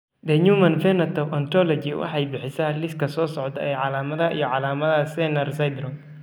The Human Phenotype Ontology waxay bixisaa liiska soo socda ee calaamadaha iyo calaamadaha Sener syndrome.